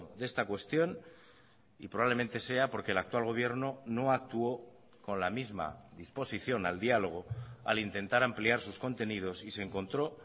de esta cuestión y probablemente sea porque el actual gobierno no actuó con la misma disposición al diálogo al intentar ampliar sus contenidos y se encontró